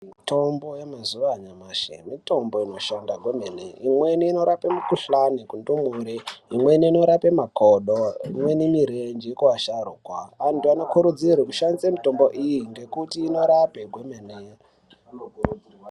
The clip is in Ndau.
Mitombo ye mazuve anyamashi mitombo ino shanda kwemene imweni ino rape mu kuhlani ku ndumure imweni ino rape makodo imweni mirenje ku asharukwa antu ano kurudzirwe kushandise mitombo iyi ngekuti ino rape kwemene.